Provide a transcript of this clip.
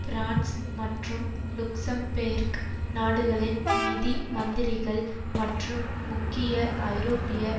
France மற்றும் Luxembourg நாடுகளின் நிதி மந்திரிகள் மற்றும் முக்கிய ஐரோப்பிய